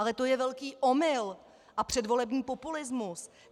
Ale to je velký omyl a předvolební populismus.